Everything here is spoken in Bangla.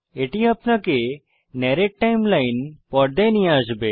এটি আপনাকে নরেট্ টাইমলাইন পর্দায় নিয়ে আসবে